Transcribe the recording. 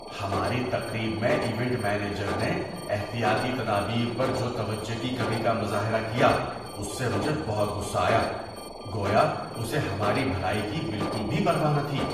ہماری تقریب میں ایونٹ مینیجر نے احتیاطی تدابیر پر جو توجہ کی کمی کا مظاہرہ کیا اس سے مجھے بہت غصہ آیا۔ گویا اسے ہماری بھلائی کی بالکل بھی پرواہ نہ تھی!